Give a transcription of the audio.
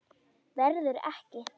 Verður ekki.